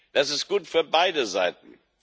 Das ist gut für beide Seiten.